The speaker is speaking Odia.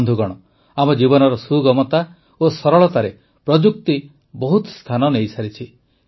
ବନ୍ଧୁଗଣ ଆମ ଜୀବନର ସୁଗମତା ଓ ସରଳତାରେ ପ୍ରଯୁକ୍ତି ବହୁତ ସ୍ଥାନ ନେଇସାରିଛି